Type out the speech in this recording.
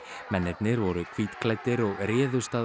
mennirnir voru hvítklæddir og réðust að